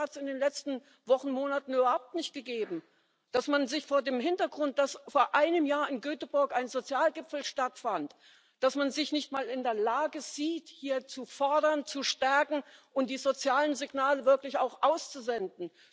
Ich glaube, das hat es in den letzten Wochen und Monaten überhaupt nicht gegeben, dass man sich vor dem Hintergrund, dass vor einem Jahr in Göteborg ein Sozialgipfel stattfand, nicht mal in der Lage sieht, hier zu fordern, zu stärken und die sozialen Signale wirklich auch auszusenden.